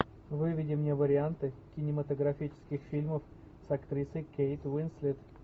выведи мне варианты кинематографических фильмов с актрисой кейт уинслет